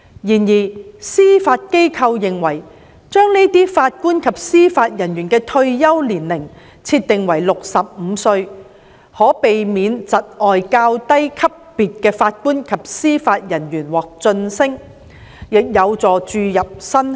然而，司法機構認為把該些法官及司法人員的退休年齡設定為65歲，可避免窒礙較低級別的法官及司法人員獲晉升，亦有助注入新血。